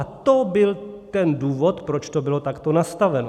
A to byl ten důvod, proč to bylo takto nastaveno.